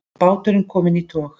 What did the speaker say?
Báturinn kominn í tog